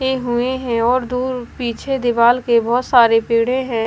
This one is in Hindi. पे हुए हैं और दूर पीछे दीवाल के बहोत सारे पेड़े हैं।